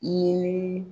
Ee